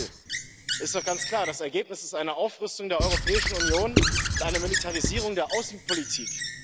Denn das Ziel ist doch ganz klar Das Ergebnis ist eine Aufrüstung der Europäischen Union und eine Militarisierung der Außenpolitik.